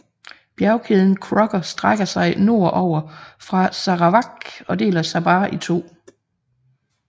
Bjergkæden Crocker strækker sig nord over fra Sarawak og deler Sabah i to